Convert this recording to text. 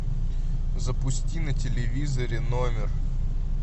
запусти на телевизоре номер